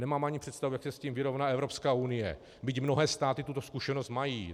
Nemám ani představu, jak se s tím vyrovná Evropská unie, byť mnohé státy tuto zkušenost mají.